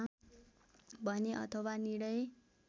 भने अथवा निर्णय